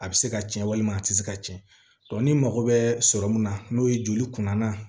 A bɛ se ka tiɲɛ walima a tɛ se ka tiɲɛ ni mago bɛ sɔrɔ mun na n'o ye joli kunna